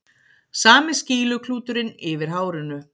Sami skýluklúturinn yfir hárinu.